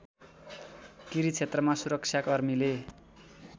किरी क्षेत्रमा सुरक्षाकर्मीले